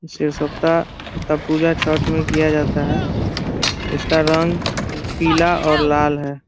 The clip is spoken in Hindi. का पूजा छठ में किया जाता है । इस का रंग का पीला और लाल है ।